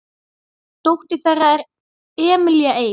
Dóttir þeirra er Emilía Eik.